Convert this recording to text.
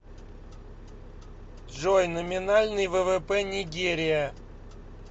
джой номинальный ввп нигерия